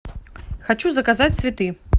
хочу заказать цветы